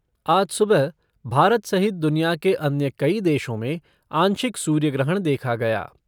आज सुबह भारत सहित दुनिया के अन्य कई देशों में आंशिक सूर्य ग्रहण देखा गया।